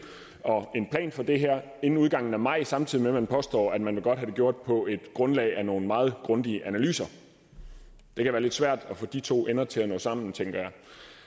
og en plan for det her inden udgangen af maj samtidig med at man påstår at man godt vil have det gjort på grundlag af nogle meget grundige analyser det kan være lidt svært at få de to ender til at nå sammen tænker